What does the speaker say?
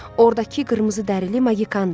Ordakı qırmızıdəri Magikandır.